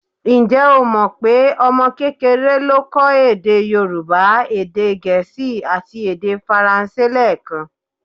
Ǹjẹ́ o mọ pé ọmọ kékeré le kọ́ èdè Yorùbá, èdè gẹ̀ẹ́sì àti èdè faransé lẹẹkan?